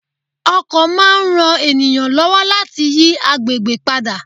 Ọkọ̀ máa ń ran ènìyàn lọ́wọ́ láti yí àgbègbè padà.